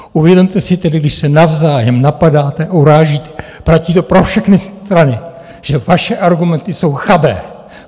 Uvědomte si tedy, když se navzájem napadáte, urážíte - platí to pro všechny strany - že vaše argumenty jsou chabé!